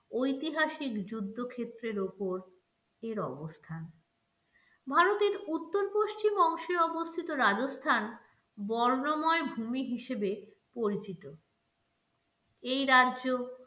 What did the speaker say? ঐতিহাসিক যুদ্ধ ক্ষেত্রের ওপর এর অবস্থান ভারতের উত্তর পশ্চিম অংশে অবস্থিত রাজস্থান বর্ণময় ভুমি হিসেবে পরিচিত এই রাজ্য